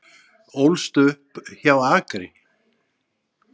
Ólst upp hjá Akri